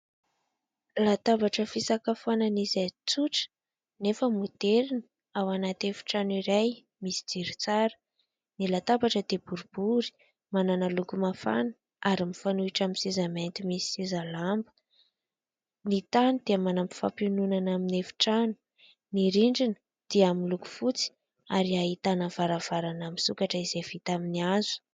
Latabatra fisakafoanana izay tsotra nefa moderina ao anaty efitrano iray misy jiro tsara. Ny latabatra dia boribory, manana loko mafana, ary mifanohitra amin'ny seza mainty misy seza lamba. Ny tany dia manampy fampiononana amin'ny efitrano. Ny rindrina dia miloko fotsy ary ahitana varavarana misokatra izay vita amin'ny hazo.